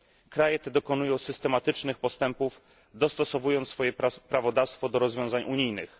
Kraje te dokonują systematycznych postępów, dostosowując swoje prawodawstwo do rozwiązań unijnych.